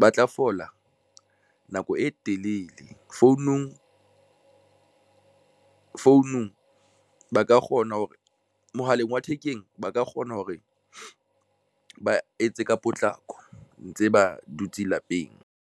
ba tla fola nako e telele mme founung ba ka kgona hore mohaleng wa thekeng ba ka kgona hore ba etse ka potlako ntse ba dutse lapeng.